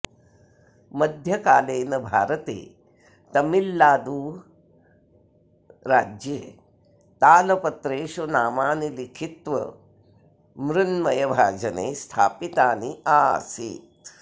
मध्यकालॆन भारतॆ तमिल्नादु राज्यॆ ताल पत्रॆषु नामानि लिखित्व म्रुन्मय भाजनॆ स्थापितानि आसित्